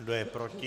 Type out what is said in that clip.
Kdo je proti?